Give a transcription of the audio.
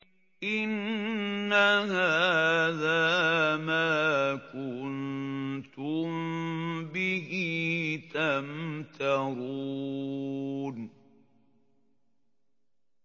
إِنَّ هَٰذَا مَا كُنتُم بِهِ تَمْتَرُونَ